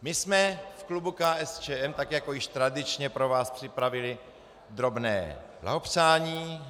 My jsme v klubu KSČM, tak jako již tradičně, pro vás připravili drobné blahopřání.